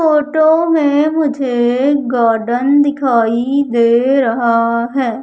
Photo में मुझे garden दिखाई दे रहा है।